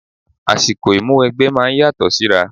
Àsìkò Ìmúwẹgbẹ́ máa ń yàtọ̀ síra